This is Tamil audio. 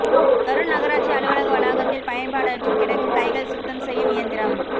கரூர் நகராட்சி அலுவலக வளாகத்தில் பயன்பாடற்று கிடக்கும் கைகள் சுத்தம் செய்யும் இயந்திரம்